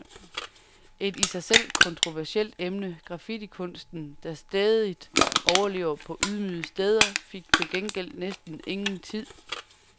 Et i sig selv kontroversielt emne, graffittikunsten, der stædigt overlever på ydmyge steder, fik til gengæld næsten ingen tid.